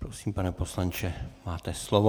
Prosím, pane poslanče, máte slovo.